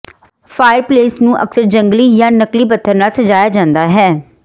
fireplace ਨੂੰ ਅਕਸਰ ਜੰਗਲੀ ਜਾਂ ਨਕਲੀ ਪੱਥਰ ਨਾਲ ਸਜਾਇਆ ਜਾਂਦਾ ਹੈ